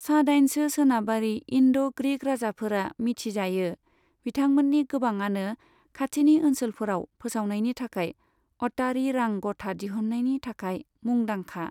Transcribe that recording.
सा दाइनसो सोनाबारि इन्ड' ग्रीक राजाफोरा मिथि जायो, बिथांमोन्नि गोबाङानो खाथिनि ओनसोलफोराव फोसावनायनि थाखाय अटारी रां गथा दिहुन्नायनि थाखाय मुंदांखा।